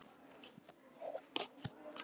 Guðlaug og Eggert.